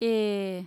ए।